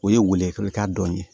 O ye welelika dɔ ye